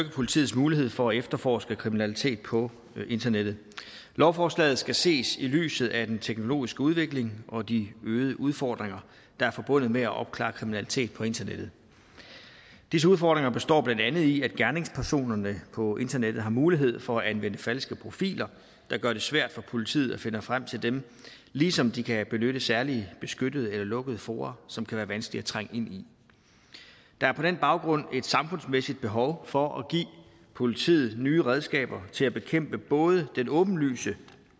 politiets mulighed for at efterforske kriminalitet på internettet lovforslaget skal ses i lyset af den teknologiske udvikling og de øgede udfordringer der er forbundet med at opklare kriminalitet på internettet disse udfordringer består blandt andet i at gerningspersonerne på internettet har mulighed for at anvende falske profiler der gør det svært for politiet at finde frem til dem ligesom de kan benytte særlige beskyttede eller lukkede fora som kan være vanskelige at trænge ind i der er på den baggrund et samfundsmæssigt behov for at give politiet nye redskaber til at bekæmpe både den åbenlyse